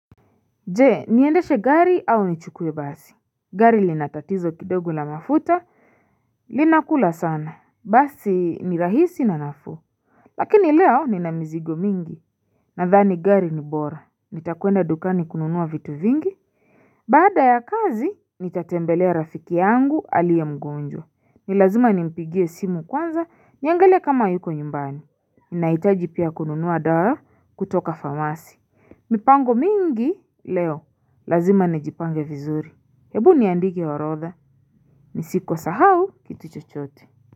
Je niendeshe gari au nichukue basi? Gari lina tatizo kidogo la mafuta linakula sana. Basi ni rahisi na nafuu. Lakini leo nina mizigo mingi nadhani gari ni bora. Nitakwenda dukani kununuwa vitu vingi Baada ya kazi nitatembelea rafiki yangu aliye mgonjwa. Ni lazima nimpigie simu kwanza niangalie kama yuko nyumbani Nahitaji pia kununuwa dawa kutoka famasi. Mipango mingi leo Lazima nijipange vizuri. Hebu niandike orodha Nisikosahau kitu chochote.